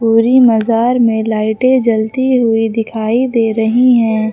पूरी मजार में लाइटें जलती हुई दिखाई दे रही हैं।